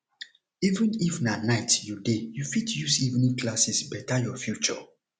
even if na night you dey you fit use evening classes beta your future